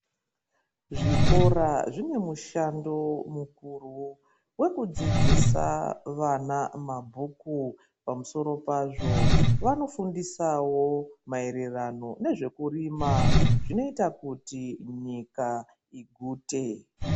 Zvikora zvine mushando mukuru wekudzidzisa vana mabhuku pamusoro pazvo vanofundisawo maererano nezvekurima zvinoita kuti nyika igute.